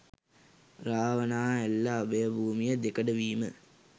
රාවණාඇල්ල අභය භූමිය දෙකඩ වීම